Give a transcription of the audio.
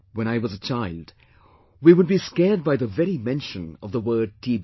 When I was a child we would be scared by the very mention of the word TB